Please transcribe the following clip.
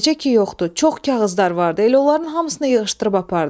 Necə ki, yoxdur, çox kağızlar vardı, elə onların hamısını yığışdırıb apardı.